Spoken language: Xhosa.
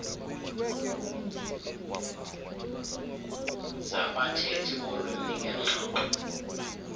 zabathethi bolwimi ngengxoxo